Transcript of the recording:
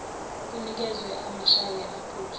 kunikezwe amasheya aphethwe